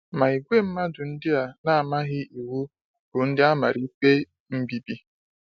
Ma ìgwè mmadụ ndị a na-amaghị Iwu bụ ndị amara ikpe mbibi.